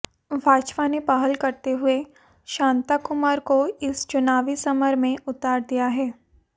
भाजपा ने पहल करते हुए शांता कुमार को इस चुनावी समर में उतार दिया है